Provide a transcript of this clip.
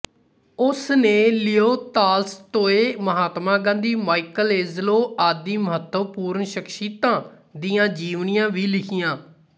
ਉਸ ਨੇ Leo Tolstoy Mahatma Gandhi Michelangelo ਆਦਿ ਮਹੱਤਵਪੂਰਣ ਸ਼ਖਸ਼ੀਅਤਾਂ ਦੀਆਂ ਜੀਵਨੀਆਂ ਵੀ ਲਿਖੀਆਂ